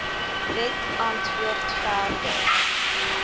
wet antwoord verder